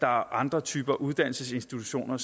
andre typer uddannelsesinstitutioner